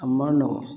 A ma nɔgɔn